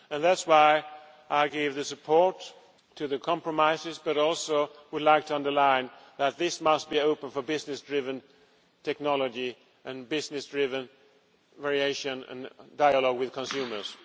And that is why I gave the support to the compromises but I also would like to underline that this must be open for business driven technology and business driven variation and dialogue with consumers.